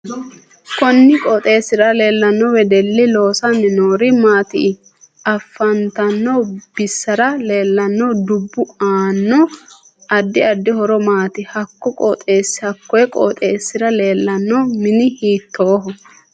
Konni qooxeesira leelanno wedelli loosani noori maati in afantanno basera leelanno dubbi anno addi addi horo maati hakko qooxeesira leelanno mini hiitooho